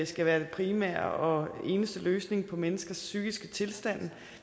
skal være den primære og eneste løsning på menneskers psykiske tilstand